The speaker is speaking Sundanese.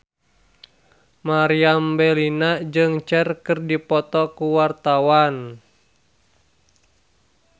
Meriam Bellina jeung Cher keur dipoto ku wartawan